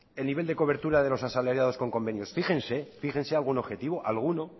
el nivel de cobertura de los asalariados con convenios fíjense fíjense algún objetivo alguno